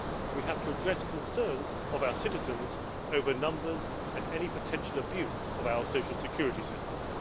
We have to address the concerns of our citizens over numbers and any potential abuse of our social security systems.